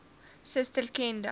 suster ken dan